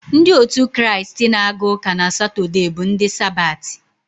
Ndị otu Kraịst na-aga uka na Satọde bụ ndị Sabati.